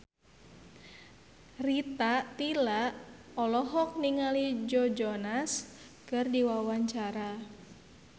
Rita Tila olohok ningali Joe Jonas keur diwawancara